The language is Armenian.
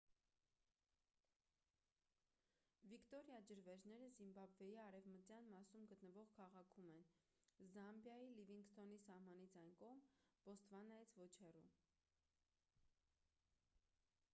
վիկտորիա ջրվեժները զիմբաբվեի արևմտյան մասում գտնվող քաղաքում են զամբիայի լիվինգսթոնի սահմանից այն կողմ բոտսվանայից ոչ հեռու